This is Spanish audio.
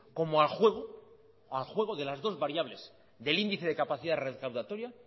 como al juego de las dos variables del índice de capacidad recaudatoria